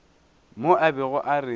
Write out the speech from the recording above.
mo a bego a re